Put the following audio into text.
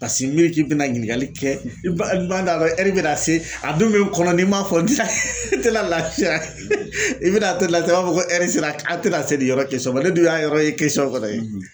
Paseke n'u ye k'i bɛna ɲininkali kɛ n b'a dɔn a ka bɛna se a dun bɛ n kɔnɔ n'i m'a fɔ n tɛ na lafiya i bɛna to nin na sisan i b'a ko sera k'an tɛ na se nin yɔrɔ ma ne dun y'a yɔrɔ ye